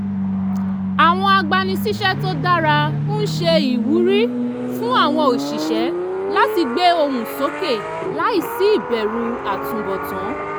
àwọn agbani síṣẹ́ tó dára ń ṣe ìwúrí fún àwọn òṣìṣẹ́ láti gbé ohùn sókè láì sí ìbẹ̀rù àtunbọ̀tán